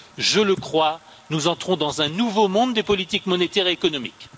Je le crois, nous entrons dans un nouveau monde des politiques monétaires et économiques.